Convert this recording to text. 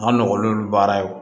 A nɔgɔlen do baara